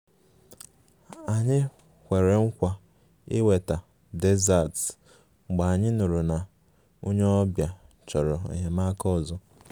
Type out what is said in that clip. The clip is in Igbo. Anyị kwere nkwa iweta desserts mgbe anyị nụrụ na onye ọbịa chọrọ enyemaka ọzọ